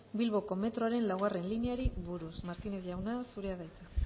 bilboko metroaren laugarrena lineari buruz martínez jauna zurea da hitza